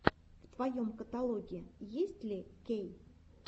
в твоем каталоге есть ли кей